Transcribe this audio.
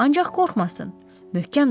Ancaq qorxmasın, möhkəm dayansın.